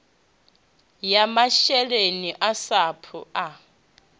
ya masheleni a sapu asi